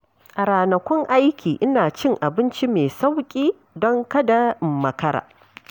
A ranakun aiki, ina cin abinci mai sauƙi don kada in makara.